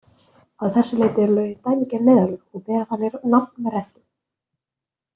Að þessu leyti eru lögin dæmigerð neyðarlög og bera þannig nafn með rentu.